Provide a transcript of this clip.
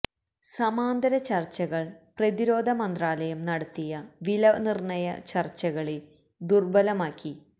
സമാന്തര ചർച്ചകൾ പ്രതിരോധ മന്ത്രാലയം നടത്തിയ വില നിർണ്ണയ ചർച്ചകളെ ദുർബലം ആക്കി